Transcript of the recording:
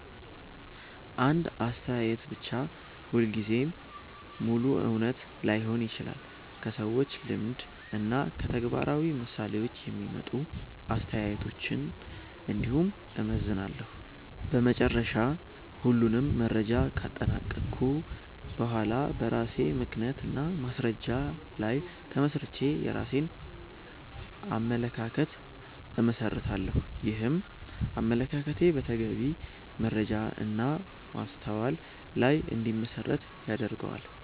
አንድ አስተያየት ብቻ ሁልጊዜ ሙሉ እውነት ላይሆን ይችላል። ከሰዎች ልምድ እና ከተግባራዊ ምሳሌዎች የሚመጡ አስተያየቶችን እንዲሁም እመዘንላለሁ። በመጨረሻ ሁሉንም መረጃ ካጠናቀቅሁ በኋላ በራሴ ምክንያት እና በማስረጃ ላይ ተመስርቼ የራሴን አመለካከት እመሰርታለሁ። ይህም አመለካከቴ በተገቢ መረጃ እና በማስተዋል ላይ እንዲመሠረት ይረዳል።